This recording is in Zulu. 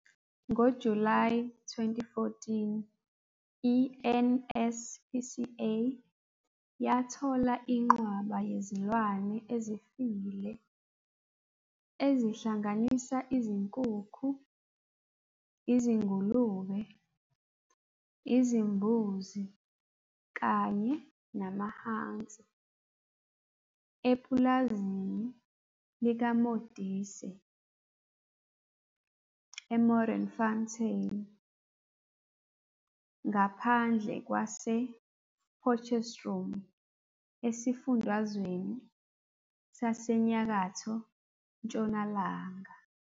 NgoJulayi 2014, i- NSPCA yathola inqwaba yezilwane ezifile, ezihlanganisa izinkukhu, izingulube, izimbuzi kanye namahansi, epulazini likaModise eModderfontein, ngaphandle kwasePotchefstroom esifundazweni saseNyakatho Ntshonalanga.